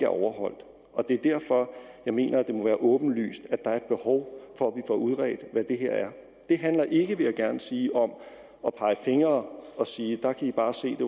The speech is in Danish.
overholdt det er derfor jeg mener at det må være åbenlyst at der er et behov for at udredt hvad det her er det handler ikke vil jeg gerne sige om at pege fingre og sige der kan i bare se det